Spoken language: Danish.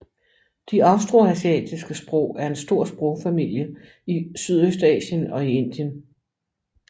De austroasiatiske sprog er en stor sprogfamilie i Sydøstasien og Indien